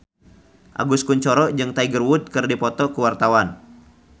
Agus Kuncoro jeung Tiger Wood keur dipoto ku wartawan